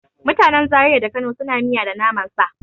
Mutanen Zariya da Kano suna yin miya da naman sa.